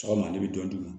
Sɔgɔma ne bɛ dɔ di